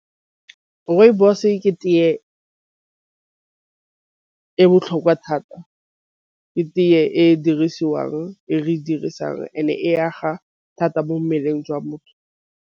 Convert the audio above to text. Rooibos-e ke teye e botlhokwa thata. Ke teye e e dirisiwang e re dirisang and-e a ga thata mo mmeleng jwa motho.